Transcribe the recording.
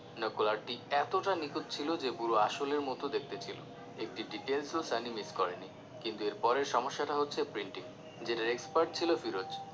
নকল art টি এতটা নিখুঁত ছিলো যে পুরো আসলের মত দেখতে ছিলো একটি details ও সানি miss করেনি কিন্তু এর পরের সমস্যা টা হচ্ছে printing যেটার expert ছিলো ফিরোজ